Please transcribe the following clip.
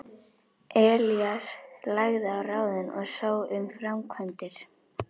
Elías lagði á ráðin og sá um framkvæmdir.